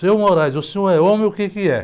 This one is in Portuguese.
Senhor, o senhor é homem ou o quê que é?